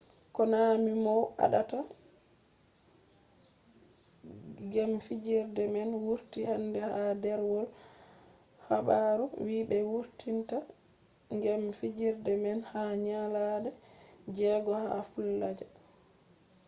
konami mow aɗata gem fijerde man wurti hande ha ɗerwol habaru wii ɓe wurtinta gem fijerde man ha nyalaɗe jego ha falluja